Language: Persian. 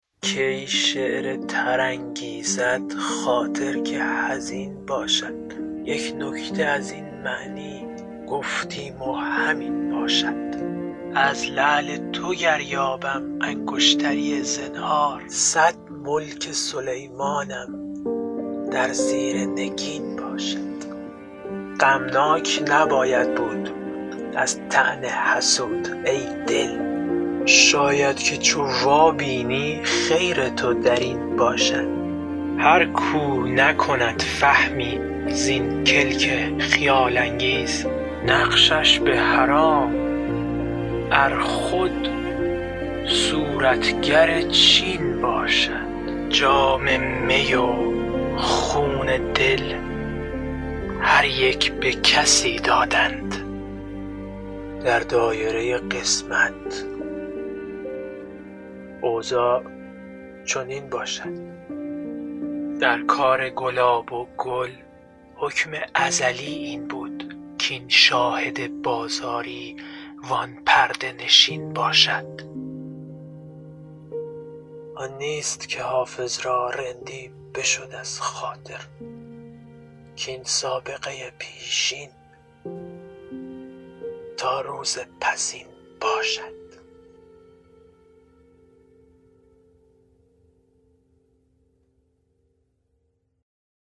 کی شعر تر انگیزد خاطر که حزین باشد یک نکته از این معنی گفتیم و همین باشد از لعل تو گر یابم انگشتری زنهار صد ملک سلیمانم در زیر نگین باشد غمناک نباید بود از طعن حسود ای دل شاید که چو وابینی خیر تو در این باشد هر کاو نکند فهمی زین کلک خیال انگیز نقشش به حرام ار خود صورتگر چین باشد جام می و خون دل هر یک به کسی دادند در دایره قسمت اوضاع چنین باشد در کار گلاب و گل حکم ازلی این بود کاین شاهد بازاری وان پرده نشین باشد آن نیست که حافظ را رندی بشد از خاطر کاین سابقه پیشین تا روز پسین باشد